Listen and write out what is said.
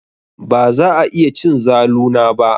Baza a iya cin zalu na ba.